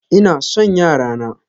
Ina son yara na.